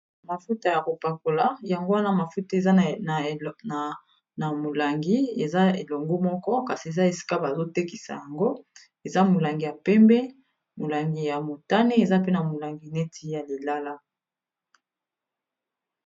mafuta ya kopakola yango wana mafuta eza na molangi eza elongo moko kasi eza esika bazotekisa yango eza molangi ya pembe molangi ya motane eza pe na molangi neti ya lilala